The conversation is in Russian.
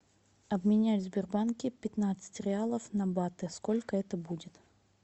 обменять в сбербанке пятнадцать реалов на баты сколько это будет